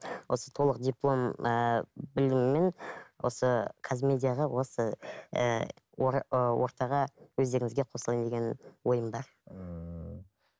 осы толық диплом ііі біліміммен осы казмедиаға осы ііі ы ортаға өздеріңізге қосылайын деген ойым бар ммм